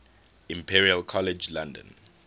imperial college london